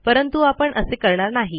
परंतु आपण असे करणार नाही